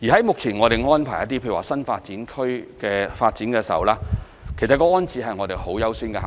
目前我們為新發展區等的一些發展作出安排時，其實安置是很優先的考慮。